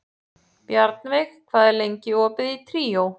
Bjarnveig, hvað er lengi opið í Tríó?